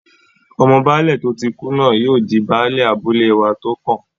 Ọmọ Baálẹ̀ tó tí kú náà yóò di Baálẹ̀ abúlé wa tó kàn